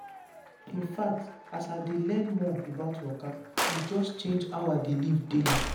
in fact as i dey learn more about waka e just change how i dey live daily.